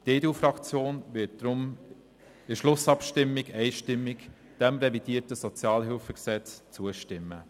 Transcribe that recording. Daher wird die EDU-Fraktion diesem revidierten SHG in der Schlussabstimmung einstimmig zustimmen.